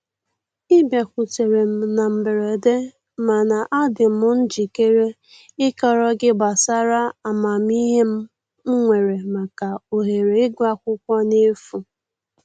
Ị bịakutere m na mberede mana adị m njikere ịkọrọ gị gbasara amamihe m nwere maka ohere ịgụ akwụkwọ n'efu